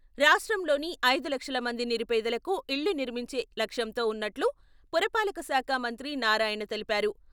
రాష్ట్రంలోని ఐదు లక్షల మంది నిరుపేదలకు ఇళ్లు నిర్మించే లక్ష్యంతో ఉన్నట్లు పురపాలక శాఖ మంత్రి నారాయణ తెలిపారు.